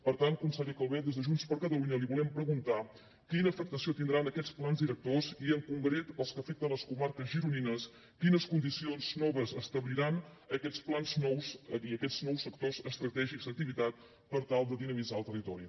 per tant conseller calvet des de junts per catalunya li volem preguntar quina afectació tindran aquests plans directors i en concret els que afecten les comarques gironines quines condicions noves establiran aquests plans nous i aquests nous sectors estratègics d’activitat per tal de dinamitzar el territori